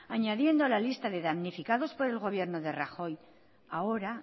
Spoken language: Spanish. añadiendo a la lista de dañificados por el gobierno de rajoy ahora